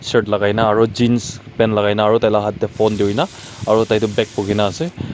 shirt lakai na aro jeans kan lakai na aro tai la hath dae phone turi na aro tai tho bag bukina ase.